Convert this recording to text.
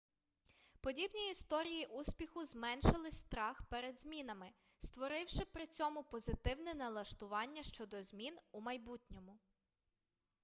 подібні історії успіху зменшили страх перед змінами створивши при цьому позитивне налаштування щодо змін у майбутньому